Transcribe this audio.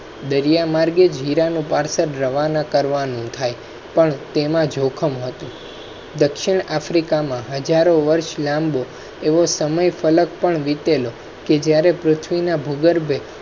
દરિયા માર્ગે જીરા નો પાર્સલ રવા ના કરવા નું. થાય પણ તેમાં ઝોખમ હતું દક્ષિણ africa માં હજારો વર્ષ લાંબો એવો સમય પલક વીતેલો કે જયારે પૃથ્વી ના ભૂગર્ભ.